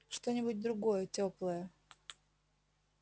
что-нибудь другое тёплое